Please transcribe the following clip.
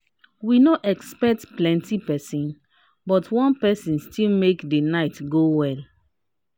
we no expect plenti person but one person still make the night go well.